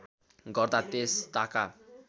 गर्दा त्यस ताका